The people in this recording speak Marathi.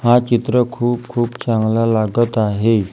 हा चित्र खूप-खूप चांगला लागत आहे.